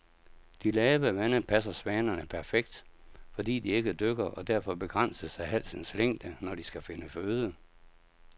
De lave vande passer svanerne perfekt, fordi de ikke dykker og derfor begrænses af halsens længde, når de skal finde føde.